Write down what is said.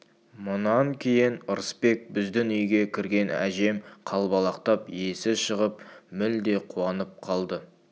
мұнан кейін ырысбек біздің үйге кірген әжем қалбалақтап есі шығып мүлде қуанып қалды